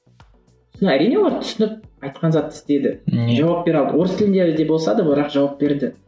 әрине олар түсініп айтқан затты істеді жауап бере алды орыс тілінде де болса да бірақ жауап берді